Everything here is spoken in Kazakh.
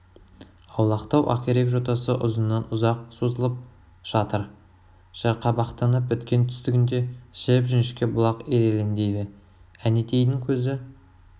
аулақтау ақирек жотасы ұзыннан ұзақ созылып жатыр жарқабақтанып біткен түстігінде жіп жіңішке бұлақ ирелеңдейді әнетейдің көзі